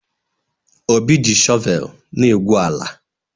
Obi ji shọvel na-egwu ala.